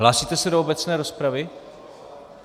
Hlásíte se do obecné rozpravy?